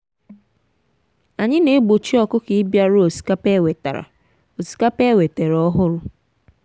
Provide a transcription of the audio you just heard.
anyị na-egbochi ọkụkọ ịbịaru osikapa e wetara osikapa e wetara ọhụrụ.